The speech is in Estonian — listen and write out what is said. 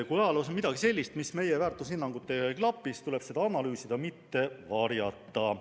Kui ajaloos on midagi sellist, mis meie väärtushinnangutega ei klapi, siis tuleb seda analüüsida, mitte varjata.